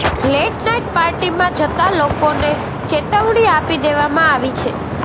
late night પાર્ટીમાં જતા લોકોને ચેતવણી આપી દેવામાં આવી છે